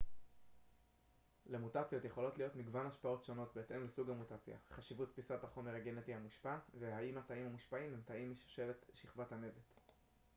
למוטציות יכולות להיות מגוון השפעות שונות בהתאם לסוג המוטציה חשיבות פיסת החומר הגנטי המושפע והאם התאים המושפעים הם תאים משושלת שכבת הנבט